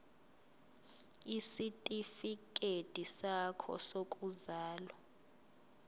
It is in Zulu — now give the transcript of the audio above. isitifikedi sakho sokuzalwa